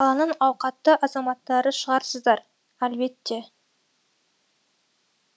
қаланың ауқатты азаматтары шығарсыздар әлбетте